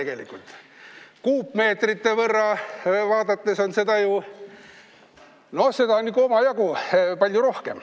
Kui kuupmeetritesse arvestada, siis seda on ikka omajagu.